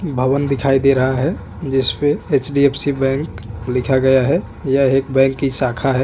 भवन दिखाई दे रहा है जिस पे H. D. F. C. Bank लिखा गया है यह एक बैंक की शाखा है।